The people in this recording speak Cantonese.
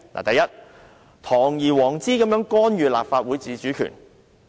第一，堂而皇之干預立法會自主權。